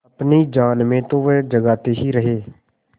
अपनी जान में तो वह जागते ही रहे